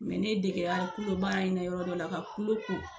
Mɛ ne dege la kulo baara in na yɔrɔ dɔ la ka kulu ko